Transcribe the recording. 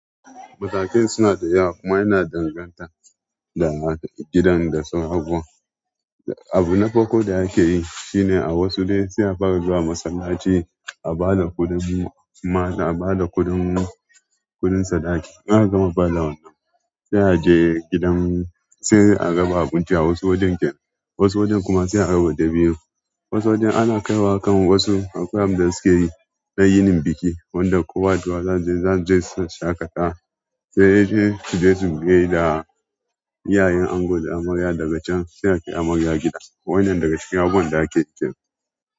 Matakan suna da yawa kuma yana danganta da gidan da su abubuwan. Abu na farko da yake yi shine a wasu dai sai a fara zuwa masallaci, a ba da kuɗin, kuma a ba da kuɗin, kuɗin sadaki. In aka gama ba da wannan, sai a je gidan, sai a raba abinci a wasu wajen kenan, wasu wajen kuma sai a raba dabino. Wasu wajen ana kaiwa kan wasu akwai abinda suke yi na yinin biki, wanda kowa da kowa zai je, zan je shaƙata. Sai dai su je su gaida iyayen ango da amarya daga can sai a kai amarya gida. Waɗannan daga cikin abubuwan da ake yi kenan.